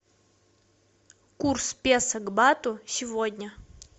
курс песо к бату сегодня